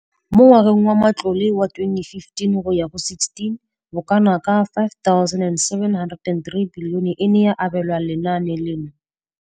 Mo ngwageng wa matlole wa 2015,16, bokanaka R5 703 bilione e ne ya abelwa lenaane leno.